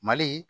Mali